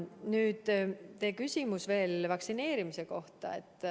Nüüd, teie küsimus vaktsineerimise kohta.